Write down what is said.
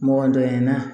Mɔgɔ dɔgɔya in na